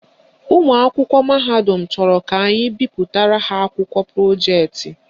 Ụmụakwụkwọ mahadum chọrọ ka anyị bipụtara ha akwụkwọ projeetị